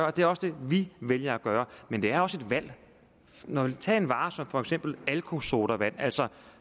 og det er også det vi vælger at gøre men det er også et valg tag en vare som for eksempel alkosodavand altså